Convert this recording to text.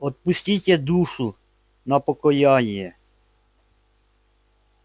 отпустите душу на покаяние